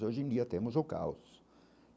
Hoje em dia temos o caos.